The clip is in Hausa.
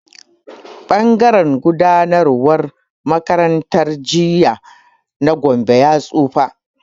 Ɓangaren gudanarwar makarantar jinya na Gombe ya tsufa.